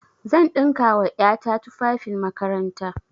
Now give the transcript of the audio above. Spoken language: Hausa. Zan ɗinka wa ƴa ta tufafin makaranta.